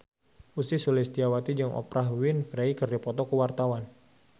Ussy Sulistyawati jeung Oprah Winfrey keur dipoto ku wartawan